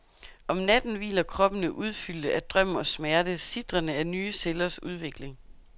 Om natten hviler kroppene udfyldte af drøm og smerte, sitrende af nye cellers udvikling.